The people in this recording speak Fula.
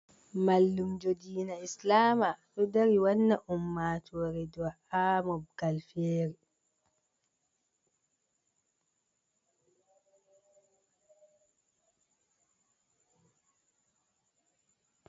Mallumjo dina islama, dodari wanna umma tore du’a ha mogalfere.